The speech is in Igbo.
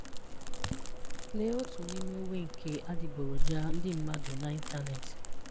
Lee otu nime uwe nke adiboroja ndị mmadụ na ịntanetị.